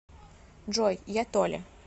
джой я толя